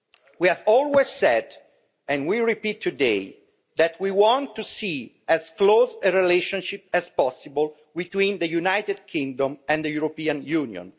We have always said, and we repeat today, that we want to see as close a relationship as possible between the United Kingdom and the European Union.